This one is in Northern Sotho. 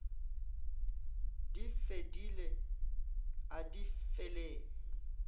di fedile a di feleng